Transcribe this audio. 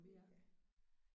Puha